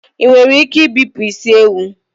Ị nwere ike ibipụ isi ewu?